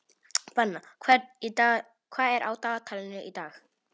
Benna, hvað er á dagatalinu í dag?